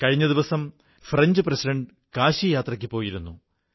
കഴിഞ്ഞ ദിവസം French president കാശിയാത്രയ്ക്കു പോയിരുന്നു